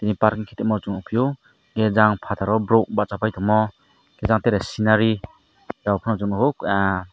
paron kita ma chong pio ai jang fataro borok bacha pai tamo ajang tere scinary jok pano chung nugo ah.